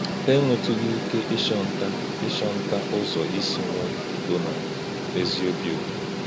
Hà ènwètùghị̀ íké ị́chọ̄ntà̀ ị́chọ̄ntà̀ ùzọ̀ ísì̄ nwè̄ ūdò̄ nà ézí̄ ọ̀bí̄ ūtò̄.